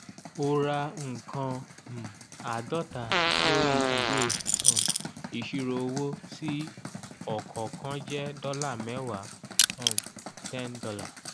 o ra nǹkàn um àádọ́ta lórí ìwé um ìṣirò owó tí ọ̀kọ̀ọ̀kan jẹ́ dọ́là mẹ́wàá um ($10).